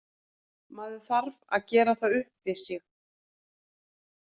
Maður þarf að gera það upp við sig.